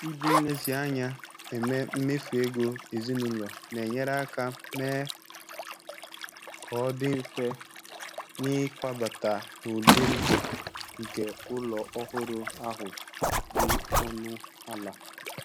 Iji nlezianya eme mmefu ego ezinụlọ na-enyere aka mee ka ọ dị mfe n'ịkwabata n'ụdị ndụ nke ụlọ ọhụrụ ahụ dị ọnụ ala.